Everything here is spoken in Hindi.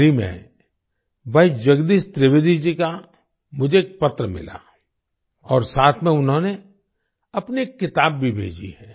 हाल ही में भाई जगदीश त्रिवेदी जी का मुझे एक पत्र मिला और साथ में उन्होंने अपनी एक किताब भी भेजी है